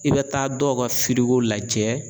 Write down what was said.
I bɛ taa dɔw ka lajɛ